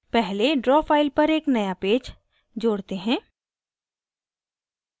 पहले draw file पर एक नया पेज जोड़ते हैं